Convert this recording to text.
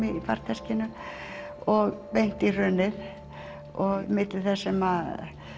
og beint í hrunið milli þess sem